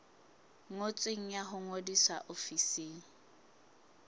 ngotsweng ya ho ngodisa ofising